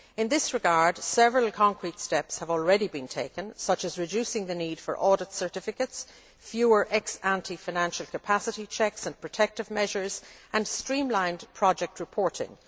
In this regard several concrete steps have already been taken, such as reducing the need for audit certificates, fewer ex ante financial capacity checks and protective measures and streamlined project reporting.